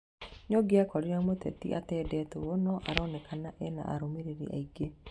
Nĩũngĩakorire mũteti atendetwo no aronekana ena arũmĩrĩri aingi